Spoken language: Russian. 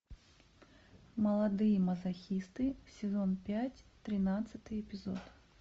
молодые мазохисты сезон пять тринадцатый эпизод